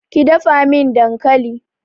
Ki dafa min dankali!